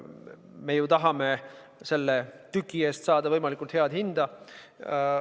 Me tahame ju selle tüki eest saada võimalikult head hinda.